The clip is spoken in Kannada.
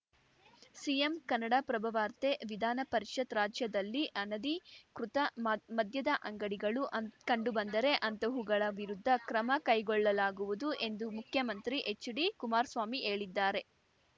ಸಿಎಂ ಕನ್ನಡಪ್ರಭ ವಾರ್ತೆ ವಿಧಾನ ಪರಿಷತ್‌ ರಾಜ್ಯದಲ್ಲಿ ಅನಧಿಕೃತ ಮದ್ ಮದ್ಯದ ಅಂಗಡಿಗಳು ಕಂಡುಬಂದರೆ ಅಂತಹವುಗಳ ವಿರುದ್ಧ ಕ್ರಮ ಕೈಗೊಳ್ಳಲಾಗುವುದು ಎಂದು ಮುಖ್ಯಮಂತ್ರಿ ಎಚ್‌ಡಿ ಕುಮಾರ್ ಸ್ವಾಮಿ ಹೇಳಿದ್ದಾರೆ